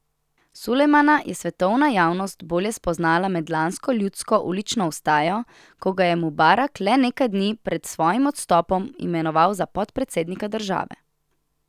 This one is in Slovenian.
Sulejmana je svetovna javnost bolje spoznala med lansko ljudsko ulično vstajo, ko ga je Mubarak le nekaj dni pred svojim odstopom imenoval za podpredsednika države.